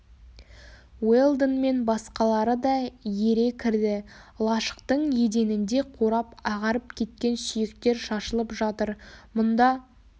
уэлдон мен басқалары да ере кірді лашықтың еденінде қурап ағарып кеткен сүйектер шашылып жатыр мұнда